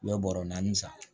U ye bɔrɔ naani san